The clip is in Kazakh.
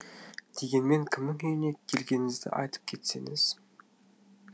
дегенмен кімнің үйіне келгеніңізді айтып кетсеңіз